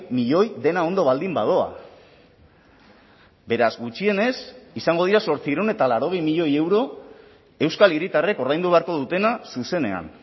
milioi dena ondo baldin badoa beraz gutxienez izango dira zortziehun eta laurogei milioi euro euskal hiritarrek ordaindu beharko dutena zuzenean